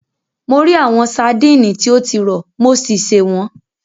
Mo rí àwọn sadíìnì tí o ti rọ̀, mo sì sè wọ́n.